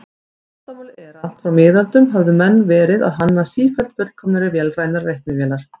Vandamálið er að allt frá miðöldum höfðu menn verið að hanna sífellt fullkomnari vélrænar reiknivélar.